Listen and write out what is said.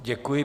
Děkuji.